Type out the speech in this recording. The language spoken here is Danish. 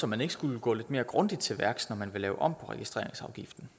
man ikke skulle gå lidt mere grundigt til værks når man vil lave om registreringsafgiften